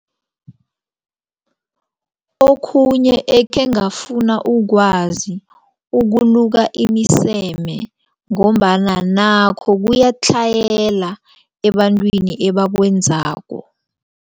Okhunye ekhe angafuna ukwazi ukuluka imiseme ngombana nakho kuyatlhayela ebantwini ebakwenzako.